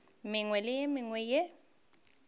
mengwe le ye mengwe ye